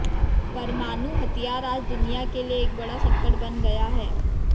परमाणु हथियार आज दुनिया के लिए एक बड़ा संकट बन गया है